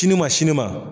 Sini ma sini ma